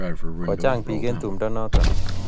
Kochang' piik eng' tumndo notok